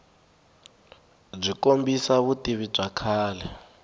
byi kombisa vutivi bya kahle